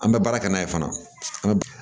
An bɛ baara kɛ n'a ye fana